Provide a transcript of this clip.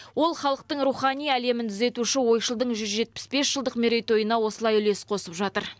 ол халықтың рухани әлемін түзетуші ойшылдың жүз жетпіс бес жылдық мерейтойына осылай үлес қосып жатыр